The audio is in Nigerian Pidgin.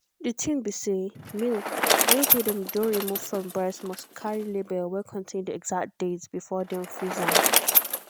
the thing be say milk milk wey them don remove from breast must carry label wey contain the exact date before dem freeze am.